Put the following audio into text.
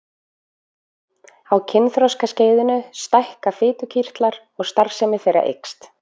Á kynþroskaskeiðinu stækka fitukirtlar og starfsemi þeirra eykst.